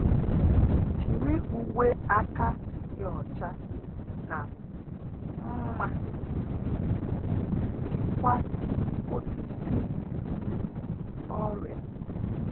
Jiri uwe aka dị ọcha na nma chịkwaa osisi ọrịa